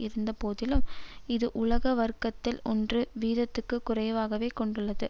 இருந்த போதிலும் இது உலக வர்கத்தில் ஒன்று வீதத்துக்கு குறைவாகவே கொண்டுள்ளது